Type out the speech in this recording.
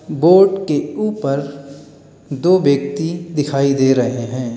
Boat के ऊपर दो व्यक्ति दिखाई दे रहे हैं।